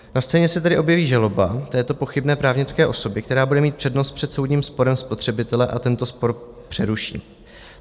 Na scéně se tedy objeví žaloba této pochybné právnické osoby, která bude mít přednost před soudním sporem spotřebitele, a tento spor přeruší.